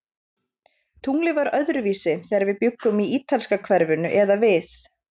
Tunglið var öðruvísi, þegar við bjuggum í ítalska hverfinu eða við